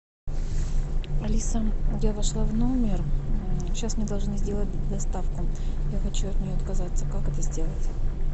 алиса я вошла в номер сейчас мне должны сделать доставку я хочу от нее отказаться как это сделать